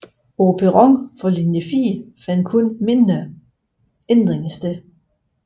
På perronen for linje 4 fandt kun mindre ændringer sted